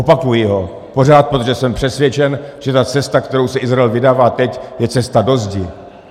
Opakuji ho pořád, protože jsem přesvědčen, že ta cesta, kterou se Izrael vydává teď, je cesta do zdi.